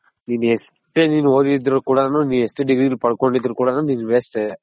ನಿನ್ ಎಷ್ಟೇ ನೀನ್ ಓದಿದ್ರು ಕೂಡನು ನಿನ್ ಎಷ್ಟೇ degree ಪಡ್ಕೊಂಡಿದ್ರುನು ನೀನ್ waste ಎ.